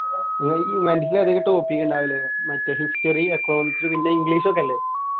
മറ്റേ history, economics, പിന്നെ English ഒക്കെയല്ലേ?